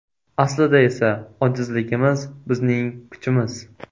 Aslida esa ojizligimiz - bizning kuchimiz.